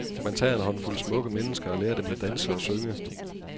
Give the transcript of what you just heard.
Man tager en håndfuld smukke mennesker og lærer dem at danse og synge.